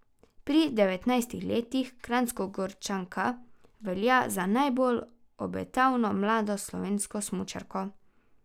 Pri devetnajstih letih Kranjskogorčanka velja za najbolj obetavno mlado slovensko smučarko.